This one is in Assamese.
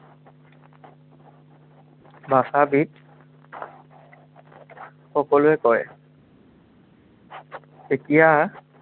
ভাষাবীদ সকলে কয়। এতিয়া